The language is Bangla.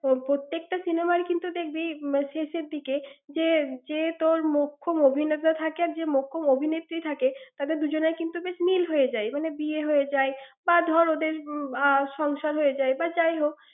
প্র~ প্রত্যেকটা cinema ই কিন্তু দেখবি, শেষের দিকে যে, যে তোর মোক্ষম অভিনেতা থাকে, যে মোক্ষম অভিনেত্রী থাকে তাদের দুজনে কিন্তু বেশ মিল হয়ে যায়, এবং বিয়ে হয়ে যায় বা ধর ওদের আহ উম সংসার হয়ে যায়। যাই হোক।